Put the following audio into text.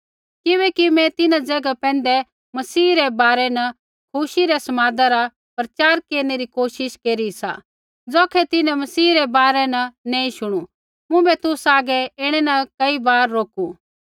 किबैकि मैं तिन्हां ज़ैगा पैंधै मसीह रै बारै न खुशी रै समादा रा प्रचार केरनै री कोशिश केरी सा ज़ौखै तिन्हैं मसीह रै बारै न नैंई शुणु मुँभै तुसा हागै ऐणै न कई बार रोकू